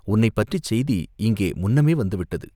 உன்னைப் பற்றிச் செய்தி இங்கே முன்னமே வந்துவிட்டது.